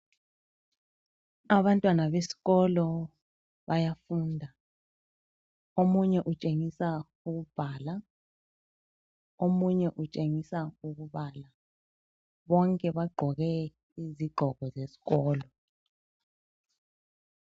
Abantwana besikolo bayafunda, omunye utshengisa ukubhala, omunye utshengisa ukubala, bonke bagqoke izigqoko zesikolo